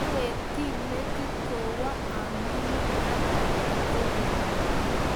Awekti metit kowo amingin akayei kogeny